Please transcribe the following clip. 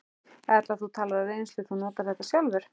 Erla: Þú talar af reynslu, þú notar þetta sjálfur?